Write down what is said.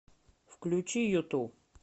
включи юту